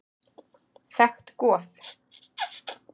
Þekkt goð.